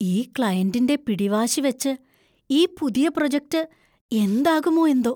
ഈ ക്ലയന്‍റിന്‍റെ പിടിവാശി വച്ച് ഈ പുതിയ പ്രോജെക്റ്റ്‌ എന്താകുമോ എന്തോ!